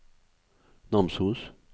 Namsos